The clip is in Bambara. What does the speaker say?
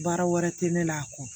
Baara wɛrɛ tɛ ne la a kɔ